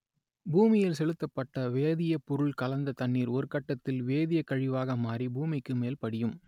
பூமியில் செலுத்தப்பட்ட வேதிப்பொருள் கலந்த தண்ணீர் ஒரு கட்டத்தில் வேதிக்கழிவாக மாறி பூமிக்கு மேல் படியும்